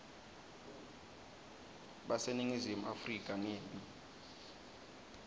baseningizimu afrika ngembi